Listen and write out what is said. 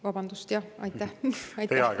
Vabandust, jah!